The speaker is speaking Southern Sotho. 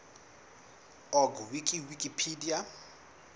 org wiki wikipedia